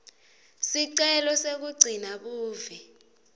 sicelo sekugcina buve